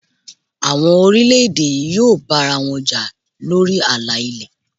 Àwọn orílẹ̀ èdè yí yóò bá ara wọn jà lórí àlà ilé.